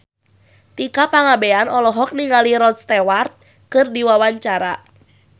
Tika Pangabean olohok ningali Rod Stewart keur diwawancara